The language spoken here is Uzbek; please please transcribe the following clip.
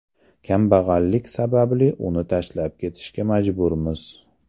Kambag‘allik sababli uni tashlab ketishga majburmiz.